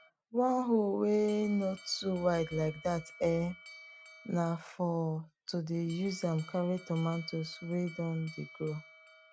one hoe wey no too wide like that um na for to dey use am carry tomato wey don dey grow